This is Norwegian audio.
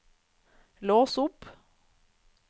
lås opp